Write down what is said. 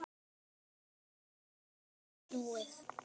Þá verður ekki aftur snúið.